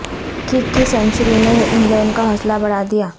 kick کی century نے England کا حوصلہ بڑھا دیا